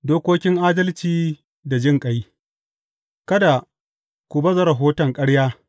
Dokokin adalci da jinƙai Kada ku baza rahoton ƙarya.